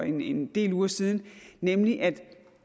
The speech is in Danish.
en del uger siden nemlig at